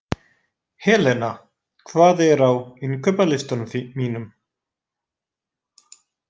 Helena, hvað er á innkaupalistanum mínum?